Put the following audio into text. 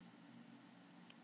Þokumóða um vestanvert landið